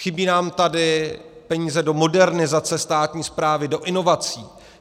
Chybí nám tady peníze do modernizace státní správy, do inovací.